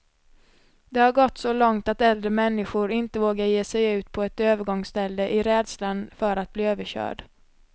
Det har gått så långt att äldre människor inte vågar ge sig ut på ett övergångsställe, i rädslan för att bli överkörd.